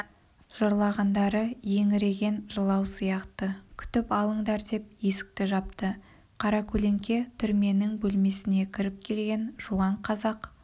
жырлағандары еңіреген жылау сияқты күтіп алыңдар деп есікті жапты қаракөлеңке түрменің бөлмесіне кіріп келген жуан қазақ